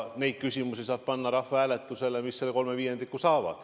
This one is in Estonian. Neid küsimusi saab panna rahvahääletusele, mis selle kolme viiendiku toetuse saavad.